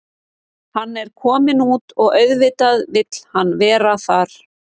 Hann er kominn út og auðvitað vill hann vera þar.